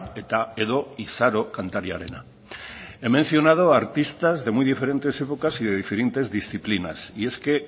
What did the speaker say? eta edo izaro kantariarena he mencionado artistas de muy diferentes épocas y de diferentes disciplinas y es que